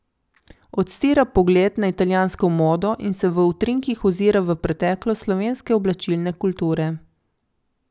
Odstira pogled na italijansko modo in se v utrinkih ozira v preteklost slovenske oblačilne kulture.